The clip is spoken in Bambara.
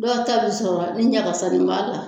Dɔw ta bɛ sɔrɔ ni ɲagakasani b'a la,